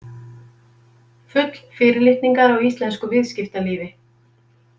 Full fyrirlitningar á íslensku viðskiptalífi.